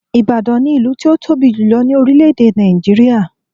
Ìbàdàn ni ìlú tí ó tóbi jùlo ní orílè èdè Nàìjíríà